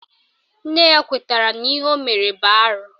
Nne ya kwetara n'ihe o mere bụ arụ